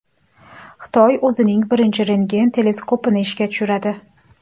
Xitoy o‘zining birinchi rentgen teleskopini ishga tushiradi.